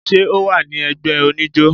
ṣe ọ wa ni ẹgbẹ onijo?